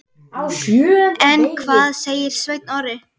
En hvað segir Sveinn Orri?